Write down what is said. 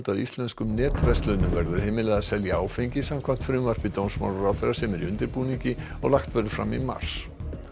íslenskum netverslunum verður heimilað að selja áfengi samkvæmt frumvarpi dómsmálaráðherra sem er í undirbúningi og lagt verður fram í mars